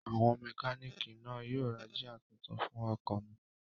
Àwọn mẹkánìkì náà yóò ra jíà tuntun fún ọkọ̀ mi